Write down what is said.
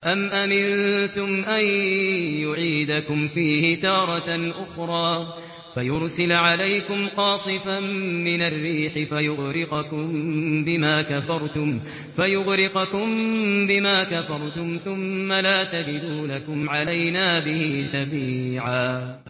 أَمْ أَمِنتُمْ أَن يُعِيدَكُمْ فِيهِ تَارَةً أُخْرَىٰ فَيُرْسِلَ عَلَيْكُمْ قَاصِفًا مِّنَ الرِّيحِ فَيُغْرِقَكُم بِمَا كَفَرْتُمْ ۙ ثُمَّ لَا تَجِدُوا لَكُمْ عَلَيْنَا بِهِ تَبِيعًا